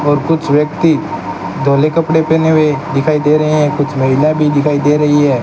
और कुछ व्यक्ति धौले कपड़े पहने हुए दिखाई दे रहे हैं कुछ महिला भी दिखाई दे रही है।